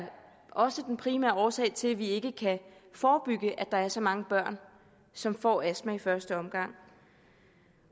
også den primære årsag til at vi ikke kan forebygge at der er så mange børn som får astma i første omgang